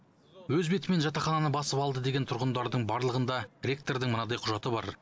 өз бетімен жатақхананы басып алды деген тұрғындардың барлығында ректордың мынандай құжаты бар